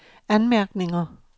anmærkninger